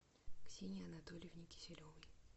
ксении анатольевне киселевой